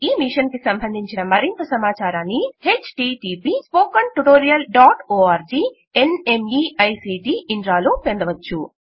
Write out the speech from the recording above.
ఈ మిషన్కు సంబంధించిన మరింత సమాచారాన్ని httpspoken tutorialorgNMEICT Intro లో పొందవచ్చు